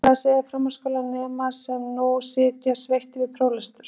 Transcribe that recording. En hvað segja framhaldsskólanemar sem nú sitja sveittir við próflestur?